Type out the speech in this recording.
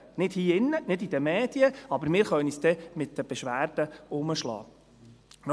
Nicht hier drin und nicht in den Medien, aber wir können uns dann mit den Beschwerden herumschlagen.